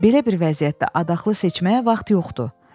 Belə bir vəziyyətdə adaxlı seçməyə vaxt yoxdur.